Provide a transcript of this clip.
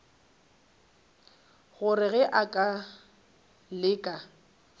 gore ge a ka leka